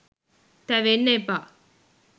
තැවෙන්න එපා.